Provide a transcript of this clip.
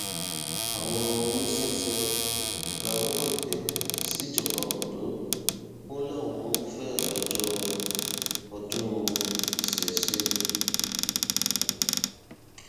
àwọn oníṣẹṣẹ rawọ ẹbẹ síjọba ondo wọn làwọn ń fẹ àyájọ ọdún ìṣesé